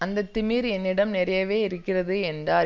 அந்த திமிர் என்னிடம் நிறையவே இருக்கிறது என்றார்